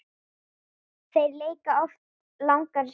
Þeir leika oft langar sóknir.